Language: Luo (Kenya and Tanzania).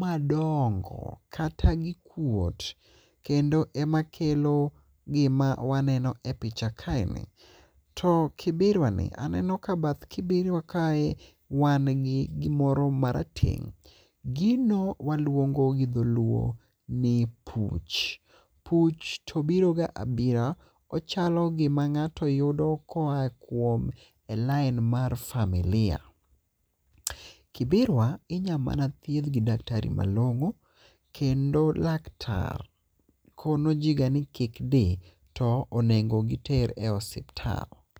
madongo kata gikuot kendo ema kelo gima waneno e picha kae ni. To kibirwa ni aneno ka bath kibirwa kae ni wan gi gimoro marateng'. Gino waluongo gi dholuo ni puch. Puch to biro ga abira. Ochalo gima ng'ato yudo koa kuom e lain mar familia. Kibirwa inya mana thiedh gi daktari malong'o. Kendo laktar kono ji ga ni kik di to onengo giter e osiptal.